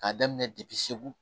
K'a daminɛ depi segu